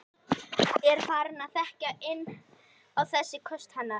Er farin að þekkja inn á þessi köst hennar.